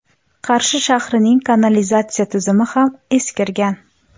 Qarshi shahrining kanalizatsiya tizimi ham eskirgan.